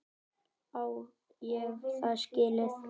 Á ég það skilið?